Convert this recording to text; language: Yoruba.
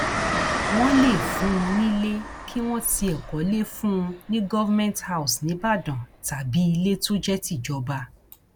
wọn lè fún un nílé kí wọn tiẹ kọlé fún un ní government house níìbàdàn tàbí ilé tó jẹ tìjọba